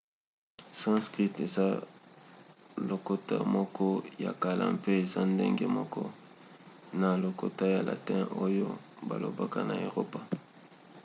sanskrit eza lokota moko ya kala mpe eza ndenge moko na lokota ya latin oyo balobaka na eropa